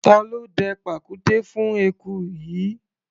Ta ló dẹ pàkúté fún eku yìí?